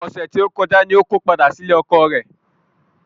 Ọ̀sẹ̀ tó kọjá ni mo ko padà sílé ọkọọ̀ rẹ.